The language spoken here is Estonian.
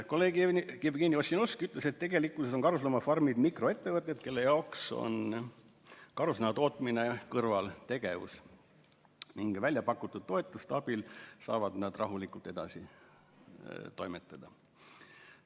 Kolleeg Jevgeni Ossinovski ütles, et tegelikkuses on karusloomafarmid mikroettevõtted, kelle jaoks on karusnaha tootmine kõrvaltegevus, ning välja pakutud toetuste abil saavad nad rahulikult edasi toimetada.